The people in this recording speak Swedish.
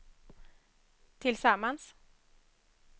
tillsammans